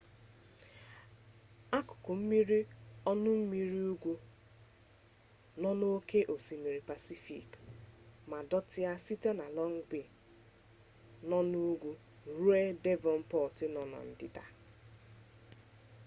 akụkụ mmiri ọnụmmiri ugwu nọ na mpaghara ugwu ebe ndote ụgbọ mmiri nọ n’oke osimiri pacifik ma dọtịa site na long bay nọ n’ugwu ruo devonport nọ na ndịda